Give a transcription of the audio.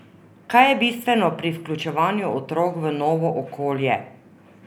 Kaj je bistveno pri vključevanju otrok v novo okolje?